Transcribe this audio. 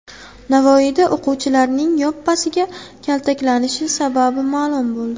Navoiyda o‘quvchilarning yoppasiga kaltaklanishi sababi ma’lum bo‘ldi .